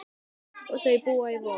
Þau búa í Vogum.